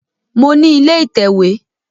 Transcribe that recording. Mo ní ilé ìtẹ̀wé